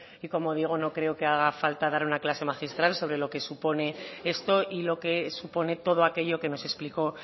y como digo no creo que haga falta dar una clase magistral sobre lo que supone esto y lo que supone todo aquello que nos explicó